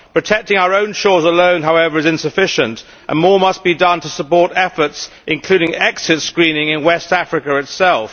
Protecting our own shores alone, however, is insufficient and more must be done to support efforts, including exit screening in West Africa itself.